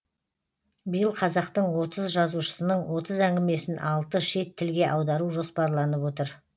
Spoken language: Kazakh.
биыл қазақтың отыз жазушысының отыз әңгімесін алты шет тілге аудару жоспарланып отыр